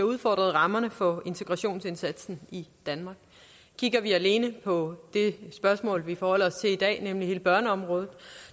udfordret rammerne for integrationsindsatsen i danmark kigger vi alene på det spørgsmål vi forholder os til i dag nemlig hele børneområdet